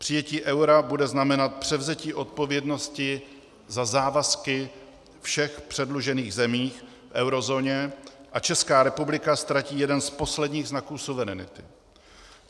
Přijetí eura bude znamenat převzetí odpovědnosti za závazky všech předlužených zemí v eurozóně a Česká republika ztratí jeden z posledních znaků suverenity.